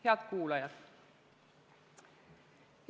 Head kuulajad!